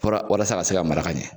walasa se ka se ka maraka ɲɛn.